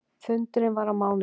Fundurinn var á mánudegi.